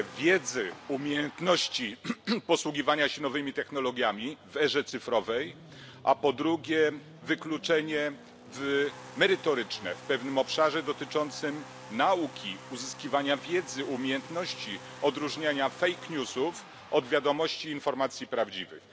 z umiejętności posługiwania się nowymi technologiami w erze cyfrowej, a po drugie wykluczenie merytoryczne z pewnego obszaru dotyczącego nauki, uzyskiwania wiedzy, umiejętności odróżniania od wiadomości i informacji prawdziwych.